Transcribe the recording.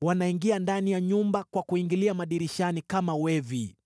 Wanaingia ndani ya nyumba; kwa kuingilia madirishani kama wevi.